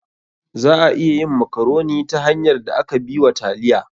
Za a iya yin makaroni ta hanyar da aka bi wa taliya.